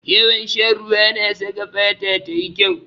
Yawan shan ruwa na saka fata tayi kyau.